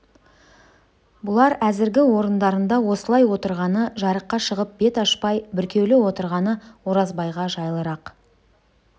бұлар әзіргі орындарында осылай отырғаны жарыққа шығып бет ашпай бүркеулі отырғаны оразбайға жайлырақ